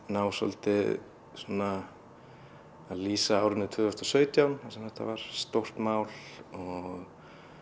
ná svolítið svona að lýsa árinu tvö þúsund og sautján þar sem þetta var stórt mál og